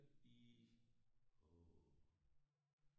I åh